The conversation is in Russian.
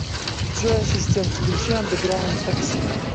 джой ассистент включи андеграунд такси